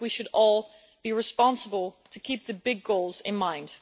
I think we should all be responsible to keep the big goals in mind.